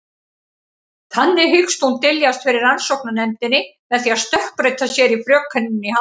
Þannig hyggst hún dyljast fyrir rannsóknarnefndinni með því að stökkbreyta sér í frökenina í Hamborg.